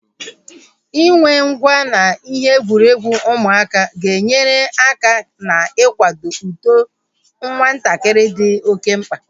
Inwe ngwá na ihe egwuregwu ụmụaka ga-enyere aka ná-ikwado uto nwatakịrị dị oké mkpa